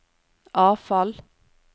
avfall